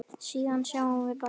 Síðan sjáum við bara til.